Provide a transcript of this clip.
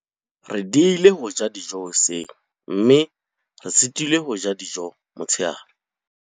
re diehile ho ja dijo hoseng mme re sitilwe ho ja dijo motshehare.